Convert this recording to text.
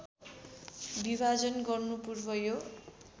विभाजन गर्नुपूर्व यो